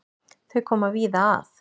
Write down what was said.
Þau koma víða að.